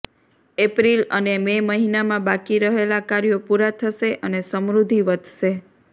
April અને May મહિનામાં બાકી રહેલા કાર્યો પૂરા થશે અને સમૃદ્ધિ વધશે